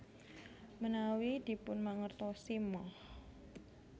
Menawi dipunmangertosi Moh